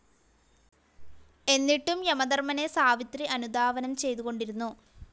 എന്നിട്ടും യമധർമ്മനെ സാവിത്രി അനുധാവനം ചെയ്തുകൊണ്ടിരുന്നു.